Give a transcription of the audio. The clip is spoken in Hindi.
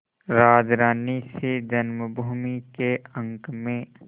राजरानीसी जन्मभूमि के अंक में